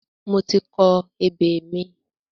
Mo ti kọ ebè mi.